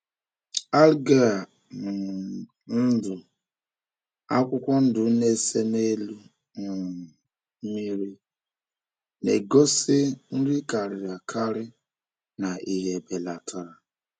Algae um ndụ akwụkwọ ndụ na-ese n’elu um mmiri na-egosi nri karịrị akarị na ìhè belatara.